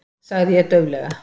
sagði ég dauflega.